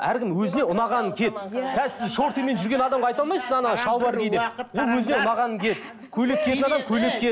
әркім өзіне ұнағанын киеді қазір сіз шортимен жүрген адамға айта алмайсыз шалбар ки деп ол өзіне ұнағанын киеді көйлек көйлек киеді